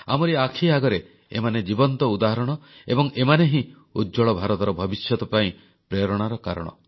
ଆମରି ଆଖି ଆଗରେ ଏମାନେ ଜୀବନ୍ତ ଉଦାହରଣ ଏବଂ ଏମାନେ ହିଁ ଉଜ୍ଜ୍ୱଳ ଭାରତର ଭବିଷ୍ୟତ ପାଇଁ ପ୍ରେରଣାର କାରଣ